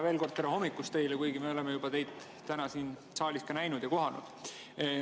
Veel kord, tere hommikust teile, kuigi me oleme teid juba täna siin saalis näinud ja kohanud.